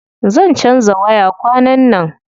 Zan canza waya kwanan nan.